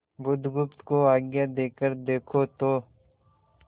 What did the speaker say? बुधगुप्त को आज्ञा देकर देखो तो